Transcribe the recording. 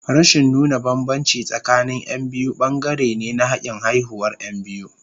Rashin nuna bambanci tsakanin Yan biyu bangare ne na hakin haihuwar Yan biyu.